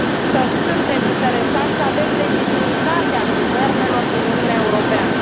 că suntem interesați să avem legitimitatea guvernelor din Uniunea Europeană.